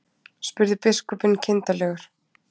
spurði biskupinn kindarlegur.